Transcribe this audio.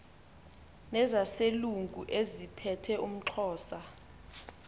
nezaselungu eziphethe umxhosa